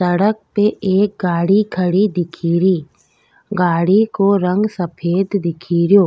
सड़क पे एक गाड़ी खड़ी दिखीरीगाड़ी को रंग सफ़ेद दिखी रियो।